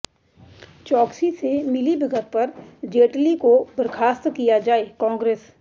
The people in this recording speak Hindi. चोकसी से मिलीभगत पर जेटली को बर्खास्त किया जाएः कांग्रेस